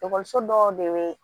Ekɔliso dɔw de bɛ